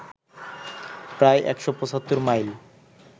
প্রায় ১৭৫ মাইল